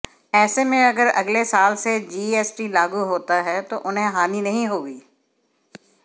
ऐसे में अगर अगले साल से जीएसटी लागू होता है तो उन्हें हानि नहीं होगी